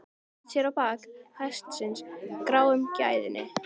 Hann vatt sér á bak hestinum, gráum gæðingi.